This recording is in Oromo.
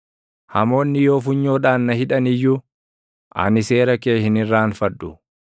Hamoonni yoo funyoodhaan na hidhan iyyuu, ani seera kee hin irraanfadhu.